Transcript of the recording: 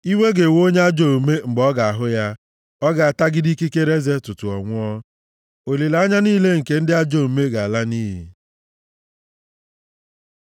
Iwe ga-ewe onye ajọ omume mgbe ọ ga-ahụ ya, ọ ga-atagide ikikere eze tutu ọ nwụọ; olileanya niile nke ndị ajọ omume ga-ala nʼiyi.